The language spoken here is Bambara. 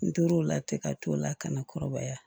N tor'o la ten ka t'o la ka na kɔrɔbaya